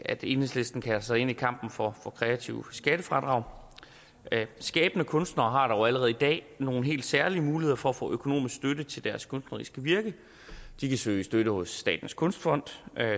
at enhedslisten kaster sig ind i kampen for kreative skattefradrag skabende kunstnere har dog allerede i dag nogle helt særlige muligheder for at få økonomisk støtte til deres kunstneriske virke de kan søge støtte hos statens kunstfond